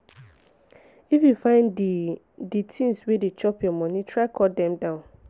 if you find di di tins wey dey chop your moni try cut dem down.